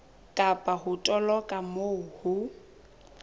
kapa ho toloka moo ho